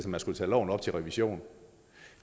man skulle tage loven op til revision